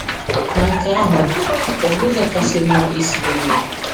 Ma nke ahụ ọ̀ bụ ụzọ kasị mma isi mee ya?